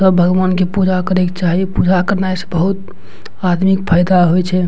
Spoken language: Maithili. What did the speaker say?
सब भगवान के पूजा करे के चाही पूजा करनाय से बहुत आदमी के फायदा होय छै।